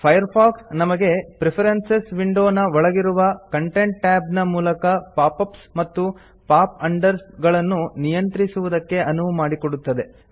Firefox ನಮಗೆ preferences window ನ ಒಳಗಿರುವ ಕಾಂಟೆಂಟ್ tab ನ ಮೂಲಕ ಪಾಪ್ ಅಪ್ಸ್ ಮತ್ತು ಪಾಪ್ ಅಂಡರ್ಸ್ ಗಳನ್ನು ನಿಯಂತ್ರಿಸುವುದಕ್ಕೆ ಅನುವು ಮಾಡಿಕೊಡುತ್ತದೆ